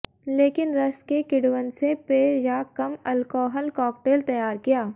लेकिन रस के किण्वन से पेय या कम अल्कोहल कॉकटेल तैयार किया